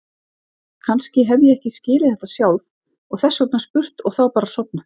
Kannski hef ég ekki skilið þetta sjálf og þess vegna spurt og þá bara sofnað.